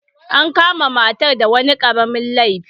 An kama matar da wani karamin laifi.